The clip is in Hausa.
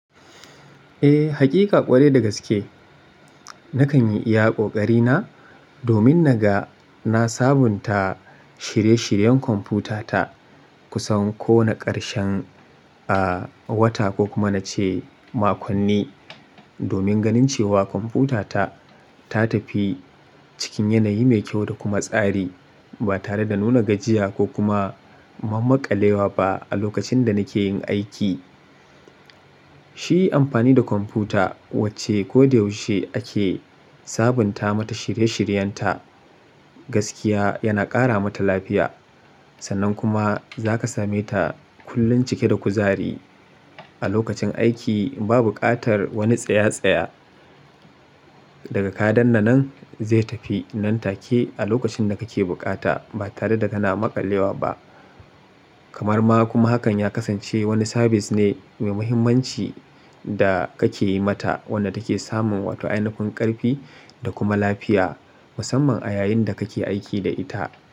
Eh, hakika ƙwarai da gaske. Nakan yi iya ƙoƙari na domin naga na sabunta shirye-shiryen kwamfutata kusan kowane ƙarshen, a, wata ko kuma na ce makonni. Domin ganin cewa kwamfutata ta tafi cikin yanayi mai kyau da kuma tsari ba tare da nuna gajiya ko kuma mam--makalewa ba a lokacin da nake yin aiki. Shi amfani da kwamfuta wacce ko da yaushe ake sabunta mata shirye-shiryen ta gaskiya yana ƙara mata lafiya. Sannan kuma za ka same ta kullum cike da kuzari a lokacin aiki. Ba buƙatar wani tsaye-tsaye. Daga kaɗanna nan zai tafi nan take a lokacin da kake buƙata ba tare da kana maƙalewa ba. Kamar ma kuma hakan ya kasance wani sabis ne mai muhimmanci da kake yi mata wanda take samun wato ainafin ƙarfi da kuma lafiya musamman a yayin da kake aiki da ita.